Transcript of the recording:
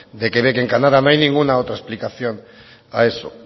de quebec en canadá no hay ninguna otra explicación a eso